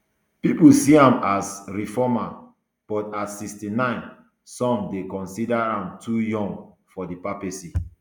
pipo see am as a reformer but at sixty-nine some dey consider am too young for di papacy